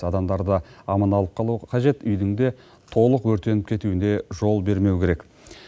адамдарды аман алып қалу қажет үйдің де толық өртеніп кетуіне жол бермеу керек